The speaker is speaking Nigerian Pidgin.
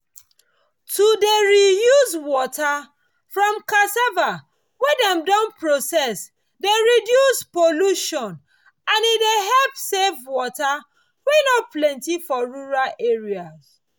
to dey reuse water from cassava wey dem don process dey reduce pollution and e dey help save water wey no plenty for rural areas